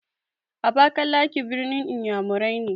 Abakalaki ɓirnin iyamurai ne.